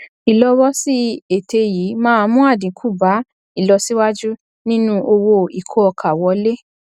ìlọwọsí ète yìí máa mú àdínkù bá ìlọsíwájú nínú owó ìkó ọkà wọlé